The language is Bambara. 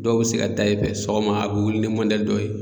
Dɔw bɛ se ka taa i fɛ sɔgɔma a bɛ wuli ni dɔ ye.